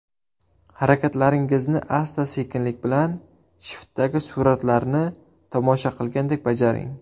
Harakatlaringizni asta-sekinlik bilan, shiftdagi suratlarni tomosha qilgandek bajaring.